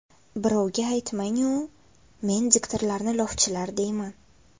Birovga aytmang-u, men diktorlarni lofchilar deyman.